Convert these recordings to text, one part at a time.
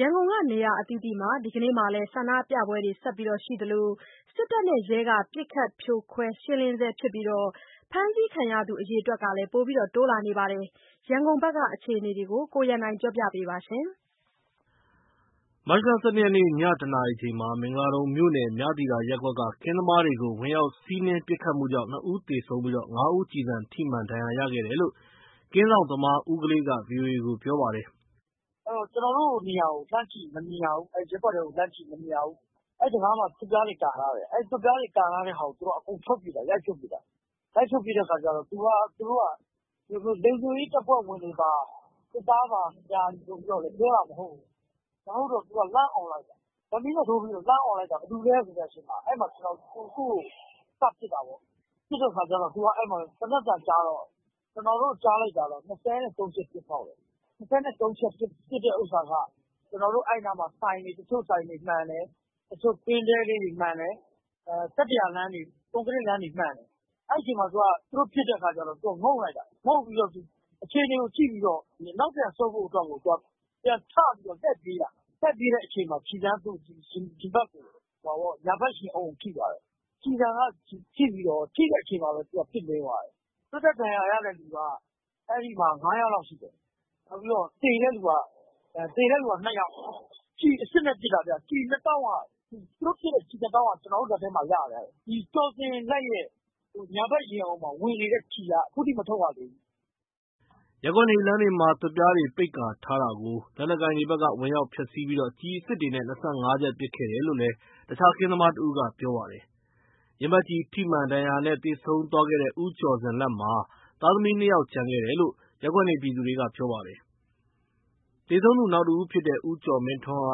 ရန်ကုန်က နေရာအသီးသီးမှာ ဒီကနေ့လည်း ဆန္ဒပြပွဲတွေဆက်ရှိသလို စစ်တပ်နဲ့ရဲကလည်း ပစ်ခတ်ဖြိုခွဲရှင်းလင်းဆဲဖြစ်ပြီး ဖမ်းဆီးခံရသူ အရေအတွက်လည်း ပိုတိုးလာနေပါတယ်။ ရန်ကုန်ဘက်က အခြေအနေတွေကိုတော့ ကိုရန်နိုင်က တင်ပြထားပါတယ်။ မတ်လ ၁၂ ရက်နေ့ ည ၁ နာရီချိန် မင်္ဂလာဒုံမြို့နယ် မြသီတာရပ်ကွက် ကင်းစောင့်သမားတွေကို ဝင်ရောက်စီးနင်း ပစ်သတ်မှုကြောင့် နှစ်ဦးသေဆုံးပြီး ငါးဦး ကျည်ဆန်ထိမှန် ဒဏ်ရာရှိခဲ့တယ်လို့ ကင်းစောင့်သမားဦးကလေးက VOA ကိုပြေပါတယ်။ “ကျနော်တို့ နေရာကို လှမ်းကြည့်ရင် မမြင်ရဘူး၊ အဲ့ရပ်ကွက်ထဲကို လှမ်းကြည့်ရင် မမြင်ရဘူး၊ အဲ့တံခါးမှာ သွပ်ပြားတွေကာထားတယ်၊ အဲ့သွပ်ပြားတွေ ကာထားတဲ့ ဟာကို သူက အကုန်ပြုတ်ပြစ်တာ ရိုက်ပြစ်တာ၊ လိုက်ပြုတ်ပြစ်တဲ့အခါကျတော့ သူကလုံခြုံရေးတပ်ဖွဲ့ဝင်တွေပါ စစ်သားပါဆိုပြီးတော့ ပြောတာမဟုတ်ဘူး၊ မဟုတ်တော့ သူကလှမ်းအော်လိုက်တာ။ ဓာတ်မီးနဲ့ ထိုးပြီးတော့ လှမ်းအော်လိုက်တော့ ဘယ်သူလဲဆိုတဲ့အချိန်မှာ အဲ့မှာ သူ့ကို စပစ်တာပေါ့၊ ပစ်တဲ့အခါကျတော့ အဲ့မှာသေနတ်သံကြားတော့ ကျနော်တို့ ကြားလိုက်တာတော့ ၂၃ ချက်ပစ်ဖောက်တယ်၊ ၂၃ နဲ့ သုံးချက်ပစ်တဲ့ ဥစ္စာက ကျနော်တို့ အဲ့နားမှာ ဆိုင်တွေ တချို့ဆိုင်တွေ မှန်တယ်၊ တချို့ကင်းတဲလေးတွေ မှန်တယ် ကတ္တရာလမ်းတွေ ကွန်ကရက်လမ်းတွေ မှန်တယ်၊ အဲ့ချိန်မှာ သူတို့ ပစ်တဲ့အခါကျတော့ သူက ငုတ်လိုက်တာ ငုတ်ပြီးတော့ အခြေအနေကို ကြည့်ပြီးတော့ နောက်ပြန်ဆုတ်ဖို့အတွက်ကို သူကပြန်ထပြီး လှည့်ပြေးတာ ထွက်ပြေးတဲ့အချိန်မှာ ကျည်ဆန်သူ့ရင်ဘတ်ကို ညာဘက်ရင်အုံကိုထိတာ ကျည်ဆန်က ထိပြီးတာ့ ထိတဲ့အချိန်မှာ သူကပြစ်လဲသွားတယ်၊သွေးထွက်ဒဏ်ရာရတဲ့လူက အဲ့ဒီမှာ ငါးယောက်လောက်ရှိတယ်၊ နောက်ပြီးတော့ သေတဲ့ လူကနှစ်ယောက်၊ ကျည်အစစ်နဲ့ ပစ်တာဗျ ကျည်နှစ်တောင့်က သူတို့ပစ်တဲ့ကျည်နှစ်တောင့်က ကျနော်လက်ထဲမှာ ရထားတယ်၊ ဒီကျော်ဇင်လတ်ရဲ့ ညာဘက်ရင်အုံမှာ ဝင်နေတဲ့ ကျည်က အခုထိမထုတ်ရသေးဘူး။” ရပ်ကွက်နေလမ်းတွေမှာ သွပ်ပြားတွေ ပိတ်ကာထားတာကို လက်နက်ကိုင်တွေဘက်က ဝင်ရောက်ဖျက်ဆီးပြီး ကျည်အစစ်နဲ့ ၂၅ ချက်ပစ်ခတ်တယ်လို့ တခြားကင်းစောင့်သမားတဦးက ပြောပါတယ်။ ရင်ဘတ်ကျည်ဆန်ထိမှန် ဒဏ်ရာနဲ့ သေဆုံးသူသွားတဲ့ ဦးကျော်ဇင်လတ်မှာ သားသမီး နှစ်ယောက် ကျန် ခဲ့တယ်လို့ ရပ်ကွက်နေသူတွေ ပြောပါတယ်။ သေဆုံးသူ နောက်တစ်ဦးဖြစ်တဲ့ ဦးကျော်မင်းထွန်းက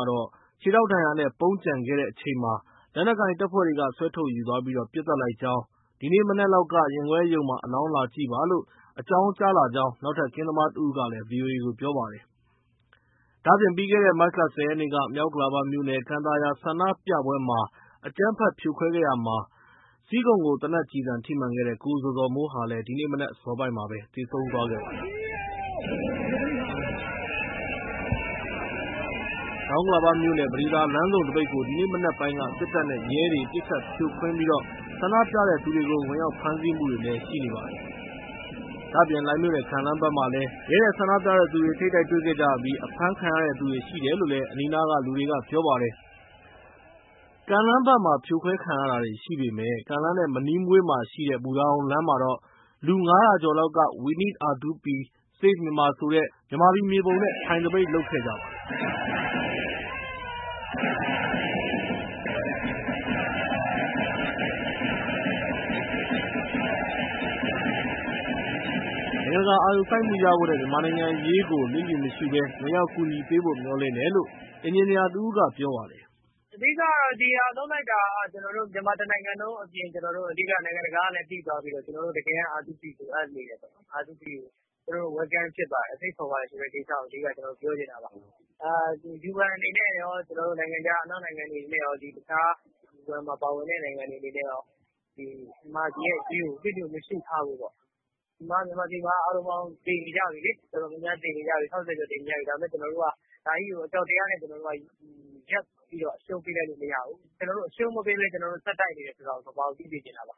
ခြေထောင်ဒဏ်ရာနဲ့ ပုန်းကျန်ခဲ့နေအချိန်မှာ လက်နက်ကိုင်တပ်ဖွဲ့က ဆွဲထုတ်ယူသွားပြီး ပစ်သတ်လိုက်ကြောင်း၊ ဒီနေ့ မနက်လောက်က ရင်ခွဲရုံမှာ အလောင်းလာကြည့်ပါလို့ အကြောင်းကြားလာကြောင်း နောက်ထပ် ကင်းစောင့်သမားတစ်ဦးကလည်း VOA ကိုပြောပါတယ်။ ပြီးခဲ့တဲ့ မတ်လ ၁၀ ရက်နေ့က မြောက်ဥက္ကလာမြို့နယ် ကန်သာယာ ဆန္ဒပြပွဲမှာ အကြမ်းဖက် ပစ်ခတ်ဖြိုခွဲရာ ဆီးခုံကို သေနတ်ကျည်ထိမှန်ခဲ့တဲ့ ကိုဇော်ဇော်မိုးဟာ ဒီနေ့ မနက်အစောပိုင်းမှာ သေဆုံးသွားပါတယ်။ တောင်ဥက္ကလာပမြို့နယ် ပဒေသာလမ်းဆုံးသပိတ်ကို ဒီနေ့ မနက်ပိုင်းမှာ စစ်တပ်နဲ့ ရဲတွေက ပစ်ခတ်ဖြိုခွင်း ဆန္ဒပြသူတွေကို ဝင်ရောက်ဖမ်းဆီမှုတွေလည်း ရှိနေပါတယ်။ လှိုင်မြို့နယ် ကန်လမ်းမှာလည်း ရဲနဲ့ ဆန္ဒပြသူတွေ ထိပ်တိုက်တွေ့ခဲ့ပါတယ်။ အဖမ်းခံရသူတွေလည်း ရှိတယ်လို့ အနီးအနားလူတွေက ပြောပါတယ်။ လှိုင်မြို့နယ်ကန်လမ်းမှာတော့ ဖြိုခွဲခံရတာရှိပေမယ့် ကန်လမ်းနဲ့ မနီးမဝေးမှာရှိတဲ့ ဘူတာရုံလမ်းမှာ လူထုပေါင်း ၅၀၀ ကျော်လောက်က We Need R2P ၊ Save Myanmar ဆိုတဲ့ မြန်မာမြေပုံကြီးနဲ့ အထိုင်သပိတ် လုပ်ခဲ့ပါတယ်။ နိုင်ငံတကာ အာရုံစိုက်မှုရရှိဖို့နဲ့ မြန်မာနိုင်ငံအရေးကို လျစ်လျူမရှူဘဲ ဝင်ရောက်ကူညီပေးဖို့ မျှော်လင့်တယ်လို့ TU အင်ဂျင်နီယာ တစ်ဦးကပြောပါတယ်။ “အဓိက ဒီဟာလုပ်လိုက်တာက ကျနော်တို့ မြန်မာတစ်နိုင်ငံလုံးအပြင် ကျနော်တို့ အဓိက နိုင်တကာ သိသွားပြီးဆိုတော့ ကျနော်တို့ တကယ် R2P လိုအပ်နေတယ်ပေါ့၊R2P ကို ကျနော်တို့ Welcome ဖြစ်ပါတယ် ဖိတ်ခေါ်ပါတယ်ဆိုတဲ့ ကိစ္စကို အဓိကကျနော်တို့ ပြောချင်တာပါ" "UN အနေနဲ့ရော ကျနော်တို့နိုင်ငံခြား အနောက်နိုင်ငံတွေအနေနဲ့ရော တခြားUN မှာ ပါဝင်တဲ့ နိုင်ငံတွေအနေနဲ့ရော ဒီမြန်မာပြည်ရဲ့အရေးကို လျစ်လျူမရှူထားဖို့ပေါ့၊ ဒီမှာ မြန်မာပြည်မှာသေနေကြပြီးလေး တော်တော်များများသေနေကြပြီး ၆၀ ကျော်သေနေကြပြီး" ဒါပေမယ့်ကျနော်တို့က ဒါကြီးကို အကြောက်တရားနဲ့ ကျနော်တို့က ရပ်ပြီးတော့ အရှုံးပေးလိုက်လို့မရဘူး၊ ကျနော်တို့ အရှုံးမပေးဘဲ ကျနော်တို့ ဆက်တိုက်နေတယ် ဆိုတာကို ကမ္ဘာကို သိစေချင်တာပါ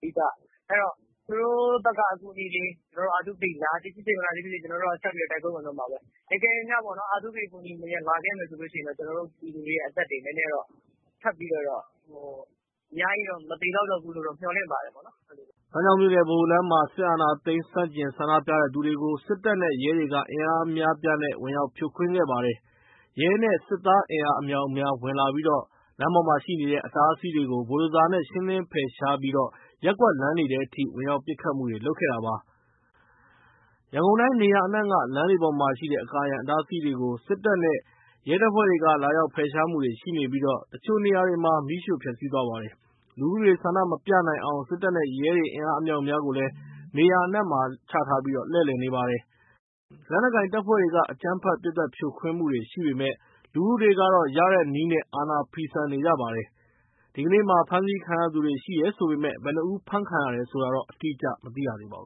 အဓိက။ အဲ့တော့ သူတို့ဘက်က အကူအညီတွေ ကျနော် R2P လာသည်ဖြစ်စေ မလာသည်ဖြစ်စေ ကျနော်က ဆက်ပြီးတိုက်ပွဲဝင်သွားမှာပဲ။ အကယ်လို့များပေါ့နော် R2P အကူအညီအနေနဲ့လာခဲ့မယ်ဆိုလို့ရှိရင် ကျနော်တို့ ပြည်သူတွေရဲ့ အသက်တွေ နည်းနည်းတော့ ထပ်ပြီးလို့တော့ အများကြီးတော့ မသေလောက်တော့ဘူးလို့မျှော်လင့်ပါတယ်ပေါ့နော်။” စမ်းချောင်းမြို့နယ် ဗဟိုလမ်းမှာ စစ်အာဏာသိမ်းဆန့်ကျင် ဆန္ဒပြသူတွေကို စစ်တပ်နဲ့ ရဲတွေက အင်အားအများအပြား ဝင်ရောက် ဖြိုခွဲလိုက်ပါတယ်။ ရဲနဲ့ စစ်သားအင်အား အမြောက်အများဝင်လာပြီး လမ်းပေါ် အတားအဆီးတွေကို ဘိုဒိုဇာနဲ့ လင်းရှင်းဖယ်ရှားလိုက်ပါတယ်။ ရပ်ကွက်လမ်းထဲထိ ဝင်ရောက်ပစ်ခတ်မှုတွေ လုပ်နေတာပါ။ ရန်ကုန်တိုင်း နေရာနှံ့ လမ်မးပေါ်မှာ အကာအရံအတားအဆီးတွေ စစ်သားနဲ့ ရဲတွေ လာရောက်ဖယ်ရှားမှုတွေရှိနေပြီး တချို့နေရာမှာ မီးရှို့ဖျက်ဆီးသွားပါတယ်။ လူထုတွေ ဆန္ဒမပြနိုင်အောင် စစ်တပ်နဲ့ ရဲတွေ အင်အားအမြောက်အများ နေရာအနှံ့လှည့်လည်နေပါတယ်။ လက်နက်ကိုင်တပ်ဖွဲ့တွေအကြမ်းဖက်ပစ်သတ်ဖြိုခွင်းမှုရှိပေမယ့် လူထုတွေက ရတဲ့နည်းနဲ့ အာဏာဖီဆန်နေကြပါတယ်။ ဒီကနေ့ ဖမ်းဆီးခံရသူတွေ ရှိတယ်ဆိုပေမယ့် ဘယ်နှစ်ဦး ဖမ်းခံရတယ်ဆိုတာတော့ အတိအကျ မသိရသေးပါဘူ